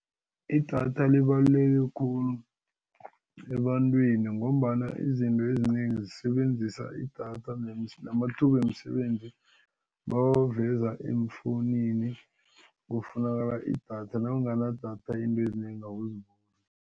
Idatha libaluleke khulu ebantwini ngombana izinto ezinengi zisebenzisa idatha namathuba wemisebenzi bawaveza eemfowunini ngokufunakala idatha nawunganadatha izinto ezinengi awuboni.